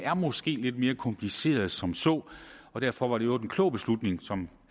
måske er lidt mere komplicerede end som så og derfor var det i øvrigt en klog beslutning som